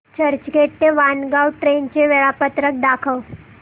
चर्चगेट ते वाणगांव ट्रेन चे वेळापत्रक दाखव